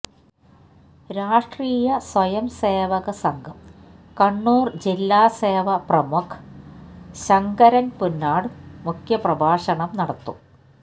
രാഷ്ട്രീയ സ്വയംസേവക സംഘം കണ്ണൂര് ജില്ലാ സേവാ പ്രമുഖ് ശങ്കരന് പുന്നാട് മുഖ്യ പ്രഭാഷണം നടത്തും